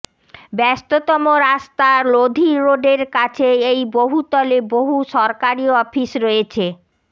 ব্যস্ততম রাস্তা লোধি রোডের কাছে এই বহুতলে বহু সরকারি অফিস রয়েছে